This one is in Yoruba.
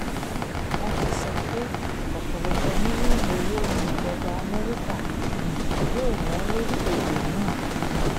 wọ́n ti sọ pé pé ọ̀pọ̀lọpọ̀ mílíọ̀nù owó ni ìjọba amẹ́ríkà um yóò ná lórí ètò náà um